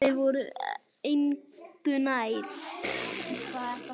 Þeir voru engu nær.